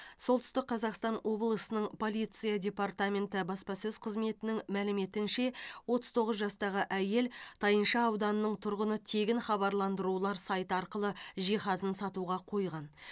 солтүстік қазақстан облысының полиция департаменті баспасөз қызметінің мәліметінше отыз тоғыз жастағы әйел тайынша ауданының тұрғыны тегін хабарландырулар сайты арқылы жиһазын сатуға қойған